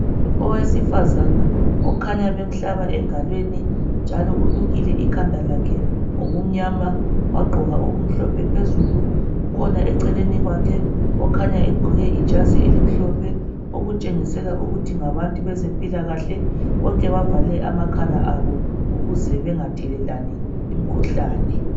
Owesifazana okhanya bemhlaba engalweni njalo ulukile ikhanda lakhe ngokumnyama wagqoka okumnhlophe phezulu kukhona eceleni kwakhe okhanya egqoke ijazi elimhlophe okutshengisela ukuthi ngabantu bezempilakahle bonke bavale amakhala abo ukuze bengathelelani imikhuhlane.